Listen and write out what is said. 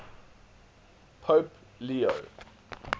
pope leo